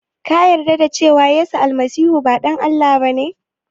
Ka yarda da cewa yesu almasihu ba ɗan Allah ba ne?